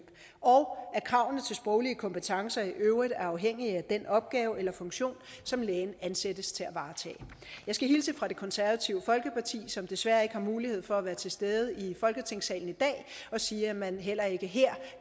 og at kravene til sproglige kompetencer i øvrigt er afhængige af den opgave eller funktion som lægen ansættes til at varetage jeg skal hilse fra det konservative folkeparti som desværre ikke har mulighed for at være til stede i folketingssalen i dag og sige at man heller ikke her